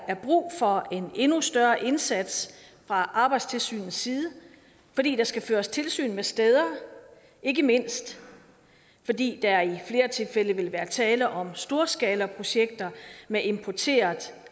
er brug for en endnu større indsats fra arbejdstilsynets side fordi der skal føres tilsyn med steder ikke mindst fordi der i flere tilfælde vil være tale om storskalaprojekter med importeret